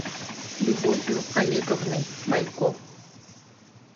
любовью олеговной бойко